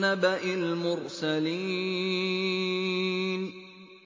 نَّبَإِ الْمُرْسَلِينَ